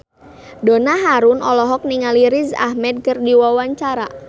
Donna Harun olohok ningali Riz Ahmed keur diwawancara